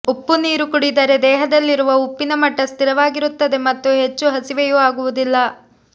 ಉಪ್ಪು ನೀರು ಕುಡಿದರೆ ದೇಹದಲ್ಲಿರುವ ಉಪ್ಪಿನ ಮಟ್ಟ ಸ್ಥಿರವಾಗಿರುತ್ತದೆ ಮತ್ತು ಹೆಚ್ಚು ಹಸಿವೆಯೂ ಆಗುವುದಿಲ್ಲ